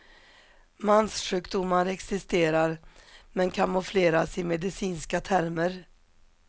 Manssjukdomar existerar men kamoufleras i medicinska termer.